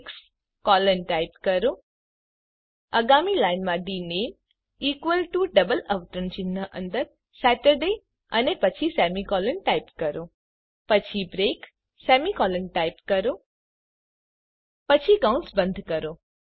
પછી case 6 colon type કરો આગામી લાઇનમાં ડીનેમ ઇકવલ ટુ ડબલ અવતરણ ચિહ્ન અંદર સતુર્દય અને પછી સેમીકોલન ટાઇપ કરો પછી બ્રેક સેમીકોલોન ટાઇપ કરો પછી કૌંસ બંધ કરો